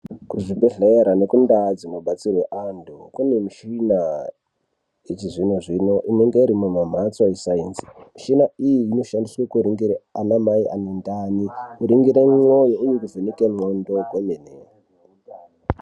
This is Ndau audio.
Kuzvibhedhlera nekundaa dzinobadzirwe antu kune michina yechizvino-zvino inenge irimumamhatso esainzi. Michina iyi inoshandiswe kuringire anamai anendani, kuringire mwoyo uye nekuvheneke ndxondo kwemene.